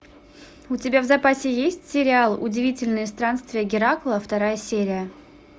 у тебя в запасе есть сериал удивительные странствия геракла вторая серия